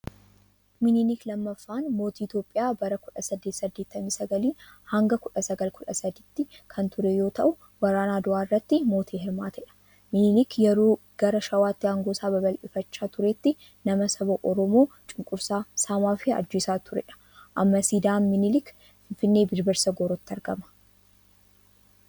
Minilik lammaffaan mootii Itoophiyaa bara 1889 hanga 1913 kan ture yoo ta'u waraana Adawaa irratti mootii hirmaatedha. Minilik yeroo gara shawaatti aangoo isaa babal'ifachaa turetti nama saba Oromoo cunqursaa, saamaa fi ajjeesaa turedha. Amma siidaan minilik Finfinnee Birbirsa Goorotti argama.